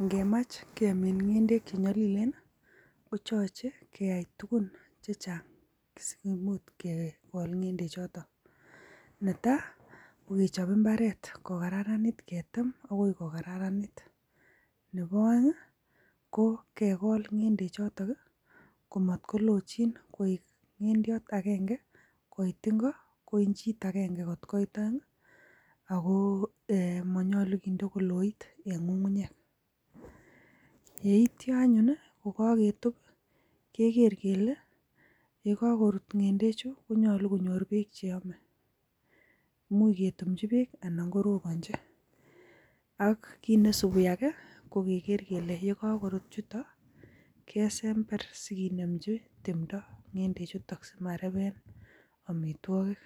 Ingemach kemiin ng'endek chenyolileen I,koyoche keyai tugun chechang missing. Kotomo okot kegool ngendechoton, netai kokechob imbaret kokararanit, ketem bokoi kokararanit. Nebo oeng I,ko kegool ng'endechotok komot kolochin koik ngendiot agenge kooit ingo ko inchit agenge kot koit peng. Ako monyolu kinde koloit en ngungunyeek. Yeityoo anyun kokaketub keger kele yekokorut ngendechu konyolu konyoor beek cheyoome. Imuch ketumchii beek anan korobonyii. Ak neisibuu Ake ko keger kele yekokorut chutook, kesember sikinemchii timdoo ngendechutok simareben amitwogiik.